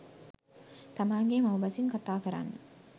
තමන්ගේ මව් බසින් කතා කරන්න